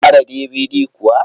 Kun gyara DVD kuwa?